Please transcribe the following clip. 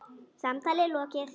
Samtali lokið.